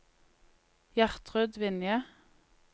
Gjertrud Vinje